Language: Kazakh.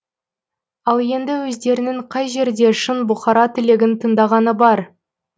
ал енді өздерінің қай жерде шын бұқара тілегін тыңдағаны бар